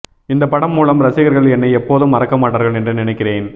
இந்த படம் மூலம் ரசிகர்கள் என்னை எப்போதும் மறக்க மாட்டார்கள் என்று நினைக்கிறேன்